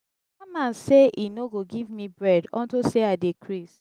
dat man say he no go give me bread unto say i dey craze.